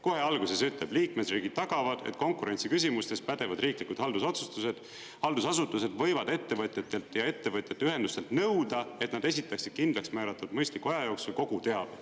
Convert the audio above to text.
Kohe alguses ütleb: liikmesriigid tagavad, et konkurentsiküsimustes pädevad riiklikud haldusasutused võivad ettevõtjatelt ja ettevõtjate ühendustelt nõuda, et nad esitatakse kindlaks määratud mõistliku aja jooksul kogu teabe.